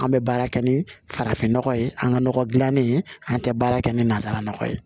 An bɛ baara kɛ ni farafin nɔgɔ ye an ka nɔgɔ dilannen an tɛ baara kɛ ni nanzara nɔgɔ ye